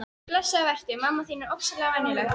Blessaður vertu, mamma þín er ofsalega venjuleg.